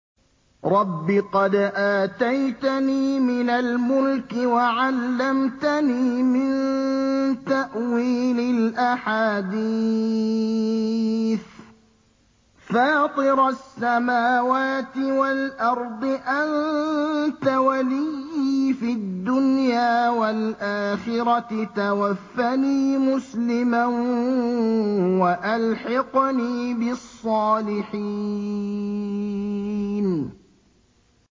۞ رَبِّ قَدْ آتَيْتَنِي مِنَ الْمُلْكِ وَعَلَّمْتَنِي مِن تَأْوِيلِ الْأَحَادِيثِ ۚ فَاطِرَ السَّمَاوَاتِ وَالْأَرْضِ أَنتَ وَلِيِّي فِي الدُّنْيَا وَالْآخِرَةِ ۖ تَوَفَّنِي مُسْلِمًا وَأَلْحِقْنِي بِالصَّالِحِينَ